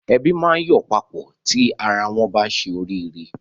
Ẹbí máa ń yọ̀ papọ̀ tí ara wọ́n bá ṣe oríire.